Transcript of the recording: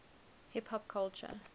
hip hop culture